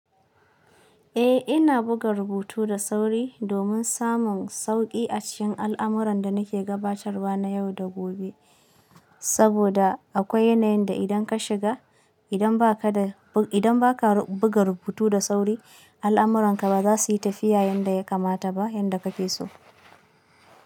Eh ina buga rubutu da sauri domin samun sauƙi a cikin al'amuran da nake gabatarwa na yau da gobe. Saboda akwai yanayin da idan ka shiga, idan ba ka da, idan ba ka buga rubutu da sauri, al'amuranka ba za su yi tafiya yanda ya kamata ba yanda kake so.